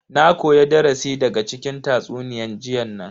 Na koya darasi daga cikin tatsuniyan jiyan nan.